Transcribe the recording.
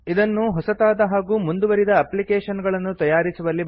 ಇದನ್ನು ಹೊಸತಾದ ಹಾಗೂ ಮುಂದುವರಿದ ಎಪ್ಲಿಕೇಶನ್ ಗಳನ್ನು ತಯಾರಿಸುವಲ್ಲಿ ಬಳಸುತ್ತಾರೆ